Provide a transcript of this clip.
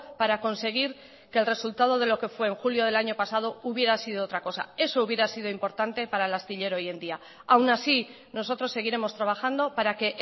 para conseguir que el resultado de lo que fue en julio del año pasado hubiera sido otra cosa eso hubiera sido importante para el astillero hoy en día aun así nosotros seguiremos trabajando para que